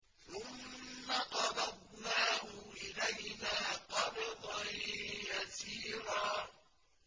ثُمَّ قَبَضْنَاهُ إِلَيْنَا قَبْضًا يَسِيرًا